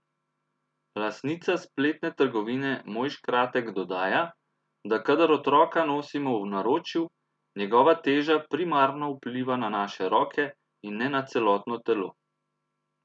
Lastnica spletne trgovine Moj škratek dodaja, da kadar otroka nosimo v naročju, njegova teža primarno vpliva na naše roke in ne na celotno telo.